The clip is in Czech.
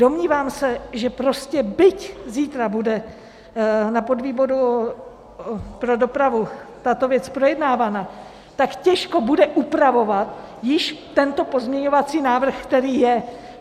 Domnívám se, že prostě byť zítra bude na podvýboru pro dopravu tato věc projednávaná, tak těžko bude upravovat již tento pozměňovací návrh, který je.